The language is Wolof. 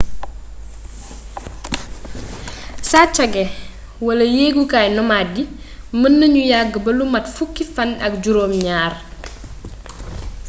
saccage wala yeegukaay nomades yii mën nañu yagg ba lu mat fukki fann ak juróom ñaar